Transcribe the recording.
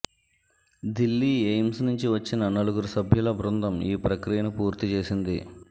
Delhi AIIMS నుంచి వచ్చిన నలుగురు సభ్యుల బృందం ఈ ప్రక్రియను పూర్తిచేసింది